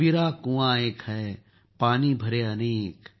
कबीरा कुआं एक है पानी भरे अनेक